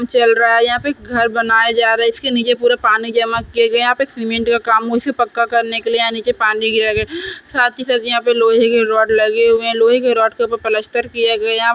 चल रहा है। यहाँ पे घर बनाए जा रहे है। इसके निचे पूरा पानी जमा किये हुए है। यहाँ सीमेंट के कामो से पक्का करने के लिए यहाँ निचे पानी गिराया गया। साथ ही साथ यहाँ लोहे के रोड लगे हुए है। लोहे के रोड के ऊपर पलस्तर किये गए है।